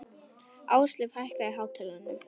Ásleif, hækkaðu í hátalaranum.